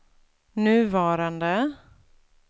nuvarande